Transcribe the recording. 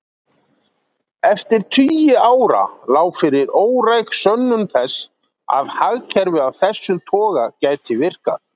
Eftir tugi ára lá fyrir óræk sönnun þess að hagkerfi af þessum toga gæti virkað.